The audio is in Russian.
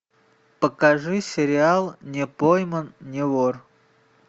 покажи сериал не пойман не вор